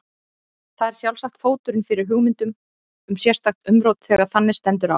Það er sjálfsagt fóturinn fyrir hugmyndum um sérstakt umrót þegar þannig stendur á.